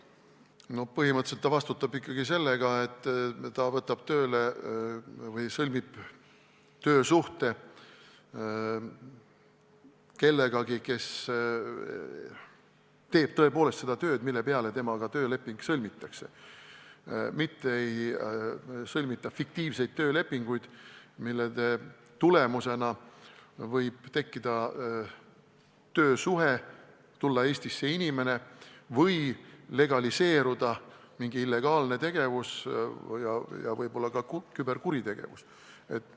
No põhimõtteliselt ta vastutab ikkagi selle eest, et võtab tööle või sõlmib töösuhte kellegagi, kes teeb tõepoolest seda tööd, mille kohta temaga tööleping sõlmitakse, mitte ei sõlmita fiktiivseid töölepinguid, mille tulemusena võib tekkida töösuhe ja välismaalt Eestisse tulla inimene või legaliseeruda mingi illegaalne tegevus, võib-olla ka küberkuritegevus.